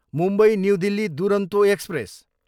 Mumbai, new Delhi Duronto express